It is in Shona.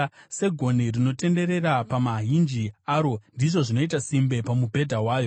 Segonhi rinotenderera pamahinji aro, ndizvo zvinoita simbe pamubhedha wayo.